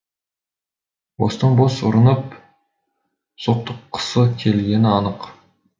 бостан бос ұрынып соқтыққысы келгені анық